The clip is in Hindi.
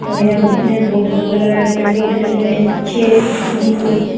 और ये दिखने में बहुत बड़ा लग रहा है पेड़-पौधे लगे हुए हैं पीछे ग्रीन कलर के--